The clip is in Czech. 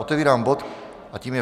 Otevírám bod a tím je